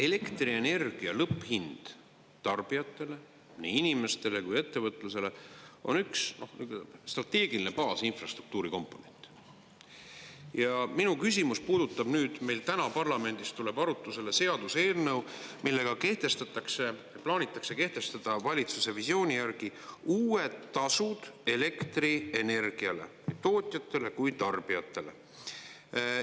Elektrienergia lõpphind tarbijatele, nii inimestele kui ettevõtlusele, on üks strateegiline baasinfrastruktuuri komponent ja minu küsimus puudutab, nüüd meil täna parlamendis tuleb arutusele seaduseelnõu, millega kehtestatakse, plaanitakse kehtestada valitsuse visiooni järgi uued tasud elektrienergiale, nii tootjatele kui tarbijatele.